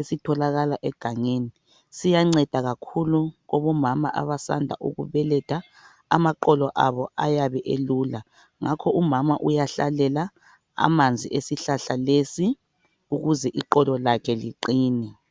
esitholakala egangeni. Siyanceda kakhulu abomama abasanda ukubeletha, amaqolo abo ayabe elula ngakho umama uyahlalela amanzi esihlahla lesi ukuze iqolo lakhe liqine.